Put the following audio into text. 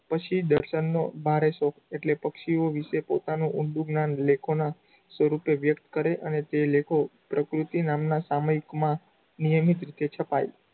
પક્ષી દર્શનનો ભારે શોખ એટલે પક્ષીઓ વિષેના પોતાનું ઊંડું જ્ઞાન લેખોના સ્વરૂપે વ્યકત કરે અને તે લેખો પ્રકૃતિ નામનાં સામાયિકમાં નિયમિત રીતે છપાય.